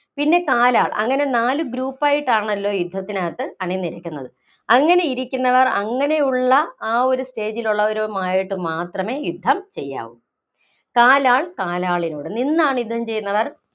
പിന്നെ കാലാള്‍, അങ്ങനെ നാല് group ആയിട്ടാണല്ലോ യുദ്ധത്തിനാത്ത് അണിനിരക്കുന്നത്. അങ്ങിനെ ഇരിക്കുന്നവര്‍ അങ്ങിനെയുള്ള ആ ഒരു stage ഇല്‍ ഉള്ളവരുമായിട്ടു മാത്രമേ യുദ്ധം ചെയ്യാവൂ. കാലാള്‍ കാലാളിനോട്, നിന്നാണ് യുദ്ധം ചെയ്യുന്നവര്‍